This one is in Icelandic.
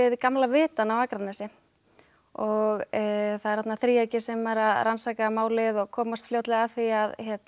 gamla vitann á Akranesi og það er þarna þríeyki sem er að rannsaka málið og komast fljótlega að því að